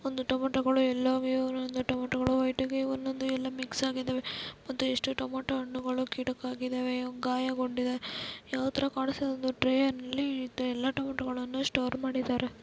ಒಂದು ಟೊಮ್ಯಾಟೋಗಳು ಎಲ್ಲಾ ವ್ಯ ನ ನಿಂದ ಟೊಮೆಟೊಗಳು ಒಟ್ಟಿಗೆ ಒಂದೊಂದು ಎಲ್ಲ ಮಿಕ್ಸ್ ಆಗಿದ್ದಾವೆ ಮತ್ತು ಟೊಮೊಟೊ ಹಣ್ಣುಗಳು ಕೆಡಕಾಗಿದ್ದಾವೆ ಗಾಯಗೊಂಡಿದ್ದವ ಯಾವ ತರಕಾಣುತ್ತಿದವೆಂದರೆ ಒಂದು ಟ್ರೈ ನಲ್ಲಿ ಎಲ್ಲ ಟೊಮೆಟೊಗಳನ್ನು ಸ್ಟೋರ್ ಮಾಡಿದರೆ.